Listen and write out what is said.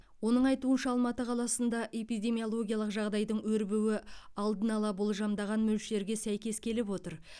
оның айтуынша алматы қаласында эпидемиологиялық жағдайдың өрбуі алдын ала болжамдаған мөлшерге сәйкес келіп отыр